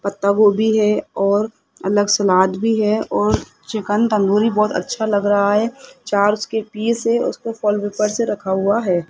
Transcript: पत्ता गोभी है और अलग सलाद भी है और चिकन तंदूरी तंदूरी बहुत अच्छा लग रहा है चार उसके पिस है और उसको फल के ऊपर से रखा हुआ है।